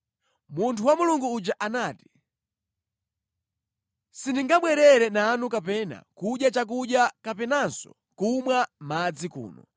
Munthu wa Mulungu uja anati, “Sindingabwerere nanu kapena kudya chakudya kapenanso kumwa madzi kuno.